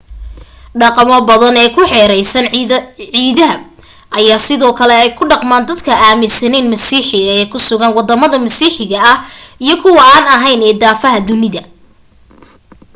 dhaqamo badan ee ku xeeraysan ciidaha ayaa sidoo kale ay ku dhaqmaan dad aaminsanayn masiixiga ee ku sugan wadama masiixiga ah iyo kuwa an ahayn ee daafaha dunida